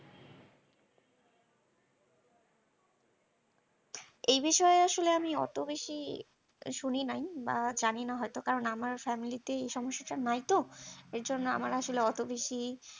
এই বিষয়ে আসরে আমি অত বেশি শুনি নাই বা জানিনা হয়তো কারণ আমার family এই সমস্যাটা নাই তো এর জন্য আমার আসলে অত বেশি